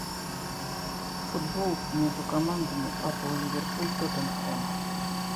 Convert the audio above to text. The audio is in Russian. футбол между командами апл ливерпуль тоттенхэм